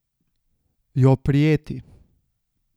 Jo prijeti.